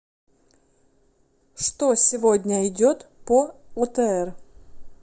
что сегодня идет по отр